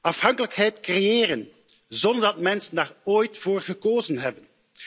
Afhankelijkheid creëren, zonder dat mensen daar ooit voor gekozen hebben.